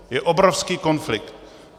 Je obrovský konflikt.